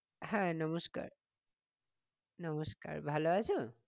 হ্যাঁ নমস্কার নমস্কার ভালো আছো?